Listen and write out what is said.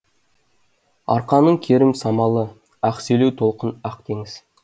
арқаның керім самалы ақ селеу толқын ақ теңіз